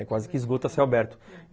É quase que esgoto a céu aberto, uhum